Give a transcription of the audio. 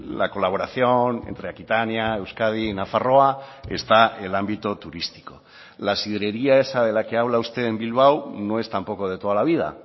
la colaboración entre aquitania euskadi y nafarroa está el ámbito turístico la sidrería esa de la que habla usted en bilbao no es tampoco de toda la vida